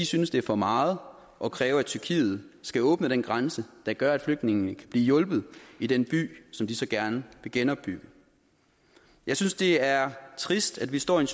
synes det er for meget at kræve at tyrkiet skal åbne den grænse der gør at flygtningene kan blive hjulpet i den by som de så gerne vil genopbygge jeg synes det er trist at vi står i